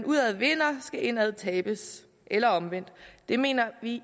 udad vindes skal indad tabes eller omvendt det mener vi